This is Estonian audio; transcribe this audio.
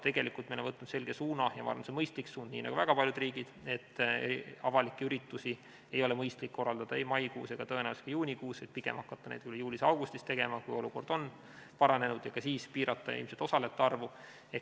Tegelikult me oleme võtnud selge suuna – ma arvan, et see on mõistlik suund – nii nagu väga paljud riigid, et avalikke üritusi ei ole mõistlik korraldada ei maikuus ega tõenäoliselt ka juunikuus, pigem hakata neid võib-olla juulis-augustis tegema, kui olukord on paranenud, ja ka siis piirata ilmselt osalejate arvu.